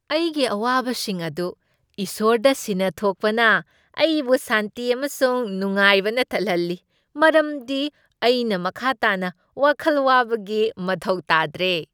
ꯑꯩꯒꯤ ꯑꯋꯥꯕꯁꯤꯡ ꯑꯗꯨ ꯏꯁꯣꯔꯗ ꯁꯤꯟꯅꯊꯣꯛꯄꯅ ꯑꯩꯕꯨ ꯁꯥꯟꯇꯤ ꯑꯃꯁꯨꯡ ꯅꯨꯡꯉꯥꯏꯕꯅ ꯊꯟꯍꯜꯂꯤ ꯃꯔꯝꯗꯤ ꯑꯩꯅ ꯃꯈꯥ ꯇꯥꯅ ꯋꯥꯈꯜ ꯋꯥꯕꯒꯤ ꯃꯊꯧ ꯇꯥꯗ꯭ꯔꯦ꯫